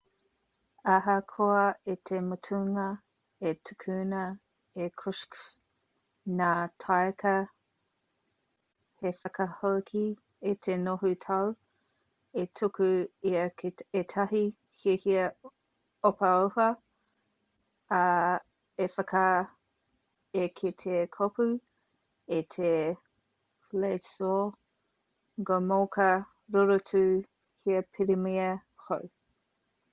ahakoa i te mutunga i tukuna e krushchev ngā taika hei whakahoki i te noho tau i tuku ia ki ētahi hiahia ohaoha ā i whakaae ia ki te kopou i te wladyslaw gomulka rorotu hei pirimia hou